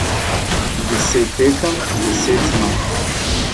Deset tekem, deset zmag.